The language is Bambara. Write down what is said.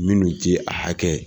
Minnu tɛ a hakɛ